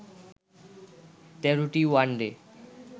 ১৩টি ওয়ানডে